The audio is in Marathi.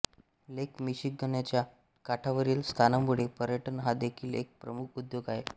लेक मिशिगनच्या काठावरील स्थानामुळे पर्यटन हा देखील एक प्रमुख उद्योग आहे